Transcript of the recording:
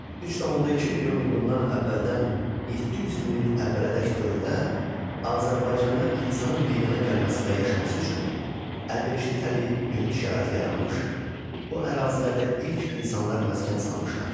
3,2 milyon il bundan əvvəldən 700 min il əvvələdək dövrdə Azərbaycanda insanın meydana gəlməsi və yaşaması üçün əlverişli təbii mühit şəraiti yaranmış, bu ərazilərdə ilk insanlar məskən salmışlar.